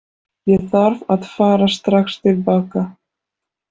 Ég þarf að fara strax til baka.